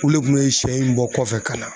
Olu le kun be sɛ in bɔ kɔfɛ ka na